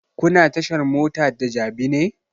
Kuna tashar mota da jabi ne?